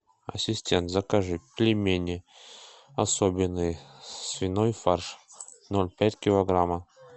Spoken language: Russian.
ассистент закажи пельмени особенные свиной фарш ноль пять килограмма